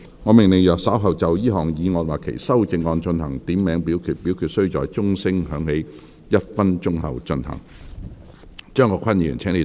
我命令若稍後就這項議案或其修正案進行點名表決，表決須在鐘聲響起1分鐘後進行。